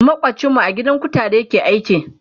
makwancin mu a gidan kutare yake aiki